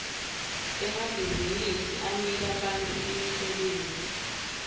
emabhizinsi anika bantfu imisebenti